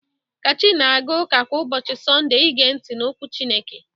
Kachi na-aga ụka kwa ụbọchị Sọnde i gee ntị n'okwu Chineke.